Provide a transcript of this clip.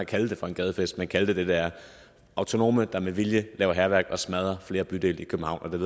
kalde det for en gadefest men kalde det hvad det er autonome der med vilje laver hærværk og smadrer flere bydele i københavn